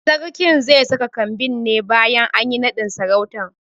Sarkin ze saka kambin ne bayan anyi naɗin sarautan